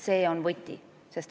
See on võti.